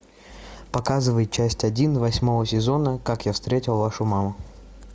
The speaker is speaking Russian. показывай часть один восьмого сезона как я встретил вашу маму